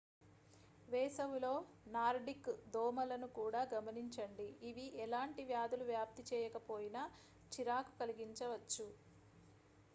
వేసవిలో నార్డిక్ దోమలను కూడా గమనించండి ఇవి ఎలాంటి వ్యాధులు వ్యాప్తి చేయకపోయినా చిరాకు కలిగించవచ్చు